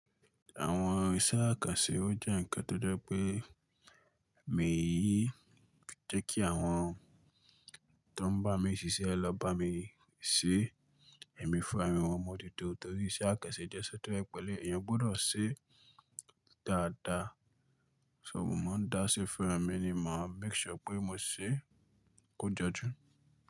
Àwọn iṣẹ́ àkànṣe ó jẹ́ ǹkan tó jẹ́ pé mi yí jẹ́ kí àwọn tó ń bá mi ṣiṣẹ́ lọ bá mi ṣe e ẹ̀mí fúnra mí mo n moju to torí iṣẹ́ àkànṣe jẹ́ iṣẹ́ tó jẹ peni, èèyàn gbọdọ̀ se e dáadáa. Ṣò mo máa ń dá ṣe fúnra mí ni màá make sure pé mo ṣe e kó jọjú.